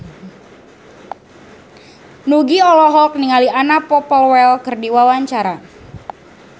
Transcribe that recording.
Nugie olohok ningali Anna Popplewell keur diwawancara